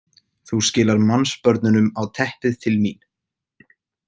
Þú skilar mannsbörnunum á teppið til mín.